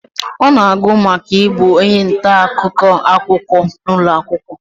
ọ na-agụ maka ibu onye nta-akụkọ akwụkwọ n'ụlọ akwụkwọ